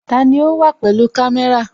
Tani o wa pẹ̀lú kamé̩ra?